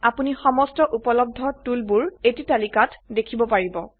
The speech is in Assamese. আপোনি সমস্ত উপলব্ধ টুল বোৰ এটি তালিকাত দেখিব পাৰিব